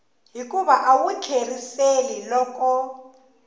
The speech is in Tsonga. hikuva a wu tlheriseli loko